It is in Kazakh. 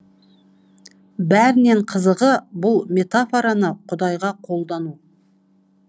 бәрінен қызығы бұл метафораны құдайға қолдану